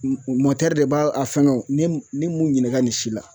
de b'a a fɛngɛ wo ne ne m'u ɲininka nin si la